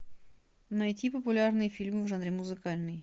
найти популярные фильмы в жанре музыкальный